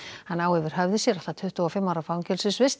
hann á yfir höfði sér allt að tuttugu og fimm ára fangelsisvist